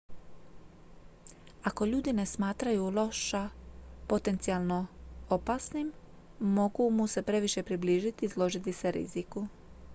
ako ljudi ne smatraju losa potencijalno opasnim mogu mu se previše približiti i izložiti se riziku